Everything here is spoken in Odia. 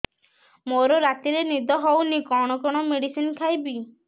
ମୋର ରାତିରେ ନିଦ ହଉନି କଣ କଣ ମେଡିସିନ ଖାଇବି